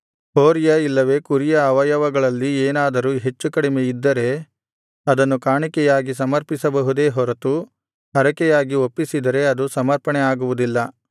ಹೋರಿಯ ಇಲ್ಲವೆ ಕುರಿಯ ಅವಯವಗಳಲ್ಲಿ ಏನಾದರೂ ಹೆಚ್ಚುಕಡಿಮೆ ಇದ್ದರೆ ಅದನ್ನು ಕಾಣಿಕೆಯಾಗಿ ಸಮರ್ಪಿಸಬಹುದೇ ಹೊರತು ಹರಕೆಯಾಗಿ ಒಪ್ಪಿಸಿದರೆ ಅದು ಸಮರ್ಪಣೆ ಆಗುವುದಿಲ್ಲ